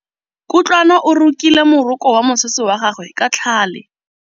Kutlwanô o rokile morokô wa mosese wa gagwe ka tlhale.